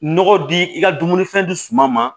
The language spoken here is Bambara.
Nɔgɔ di i ka dumunifɛn di suma ma